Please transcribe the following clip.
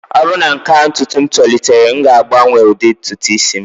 ọ bụrụ na nke a ntutu m tolitere, m ga-agbanwe ụdị ntutu isi